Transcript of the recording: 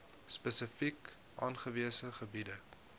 spesifiek aangewese gebiede